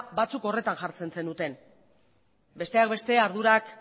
batzuk horretan jartzen zenuten besteak beste ardurak